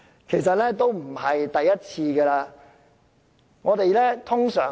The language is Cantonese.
其實已不是第一次這樣做。